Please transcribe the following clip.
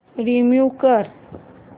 remove कर